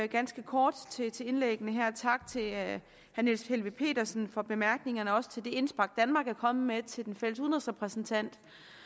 ganske kort til indlæggene her sige tak til herre niels helveg petersen for bemærkningerne også til det indspark danmark er kommet med til den fælles udenrigsrepræsentant